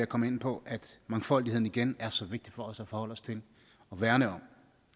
komme ind på at mangfoldigheden igen er så vigtig for os at forholde os til og værne om